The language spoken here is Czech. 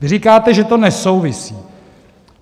Vy říkáte, že to nesouvisí.